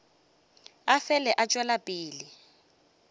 a fele a tšwela pele